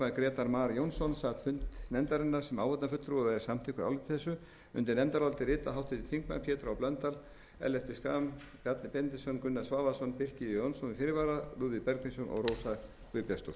grétar mar jónsson sat fund nefndarinnar sem áheyrnarfulltrúi og er samþykkur áliti þessu undir nefndarálitið skrifa háttvirtir þingmenn pétur h blöndal ellert b schram bjarni benediktsson gunnar svavarsson birkir j jónsson með fyrirvara lúðvík bergvinsson og rósa guðbjartsdóttir